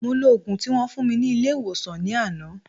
Mo lo ògùn tí wón fún mi ní ilé ìwòsàn ní àná